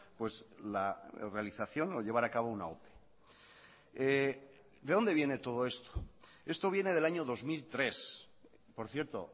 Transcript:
pues la realización o llevar a cabo una ope de donde viene todo esto esto viene del año dos mil tres por cierto